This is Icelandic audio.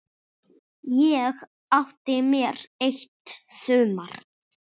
Ég átti mér eitt sumar.